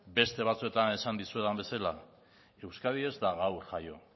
beste batzuetan esan dizuedan bezala euskadi ez da gaur jaio